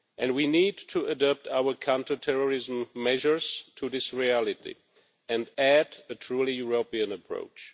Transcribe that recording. We need to adapt our counterterrorism measures to this reality and add a truly European approach.